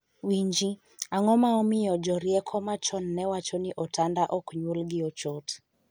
winji, ang'o ma omiyo jorieko machon ne wacho ni otanda ok nyuol gi ochot